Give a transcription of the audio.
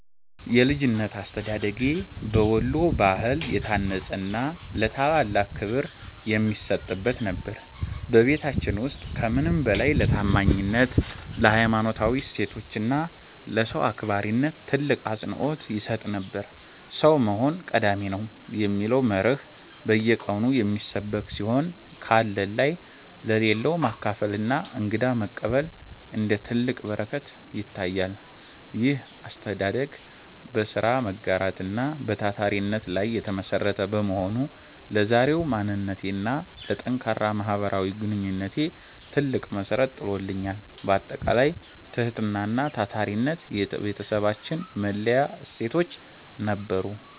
የልጅነት አስተዳደጌ በወሎ ባህል የታነጸና ለታላላቅ ክብር የሚሰጥበት ነበር። በቤታችን ውስጥ ከምንም በላይ ለታማኝነት፣ ለሀይማኖታዊ እሴቶች እና ለሰው አክባሪነት ትልቅ አፅንዖት ይሰጥ ነበር። "ሰው መሆን ቀዳሚ ነው" የሚለው መርህ በየቀኑ የሚሰበክ ሲሆን፣ ካለን ላይ ለሌለው ማካፈልና እንግዳ መቀበል እንደ ትልቅ በረከት ይታያል። ይህ አስተዳደግ በሥራ መጋራት እና በታታሪነት ላይ የተመሠረተ በመሆኑ፣ ለዛሬው ማንነቴና ለጠንካራ ማህበራዊ ግንኙነቴ ትልቅ መሠረት ጥሎልኛል። ባጠቃላይ፣ ትህትናና ታታሪነት የቤታችን መለያ እሴቶች ነበሩ።